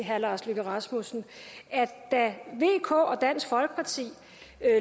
herre lars løkke rasmussen at da vk og dansk folkeparti